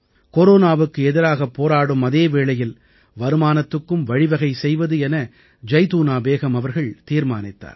கொரோனாவுக்கு எதிராகப் போராடும் அதே வேளையில் வருமானத்துக்கும் வழிவகை செய்வது என ஜைதூனா பேகம் அவர்கள் தீர்மானித்தார்